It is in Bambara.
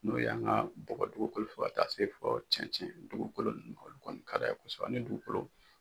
N'o y'an ka bɔgɔ dugukolo fɔ ka taa se fɔ cɛncɛn dugukolo olu kɔni ka d'a ye kosɛbɛ ani dugukolo